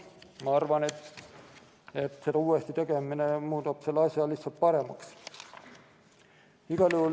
Ma arvan, et selle uuesti tegemine muudab asja lihtsalt paremaks.